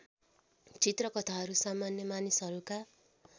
चित्रकथाहरू सामान्य मानिसहरूका